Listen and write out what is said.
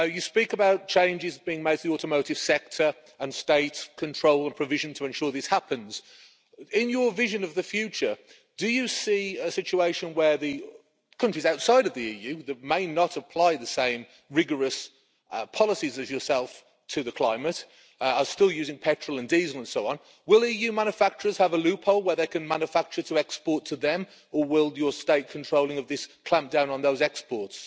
You speak about changes being made to the automotive sector and state control and provision to ensure this happens. In your vision of the future, do you see a situation where the countries outside of the EU that may not apply the same rigorous policies as yourself to the climate are still using petrol and diesel and so on will EU manufacturers have a loophole where they can manufacture to export to them or will your state control of this clamp down on those exports?